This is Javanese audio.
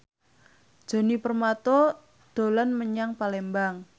Djoni Permato dolan menyang Palembang